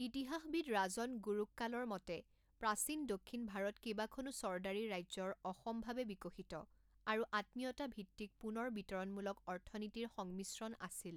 ইতিহাসবিদ ৰাজন গুৰুক্কালৰ মতে, প্ৰাচীন দক্ষিণ ভাৰত কেইবাখনো চৰ্দাৰী ৰাজ্যৰ অসমভাৱে বিকশিত আৰু আত্মীয়তা ভিত্তিক পুনৰ বিতৰণমূলক অৰ্থনীতিৰ সংমিশ্ৰণ আছিল।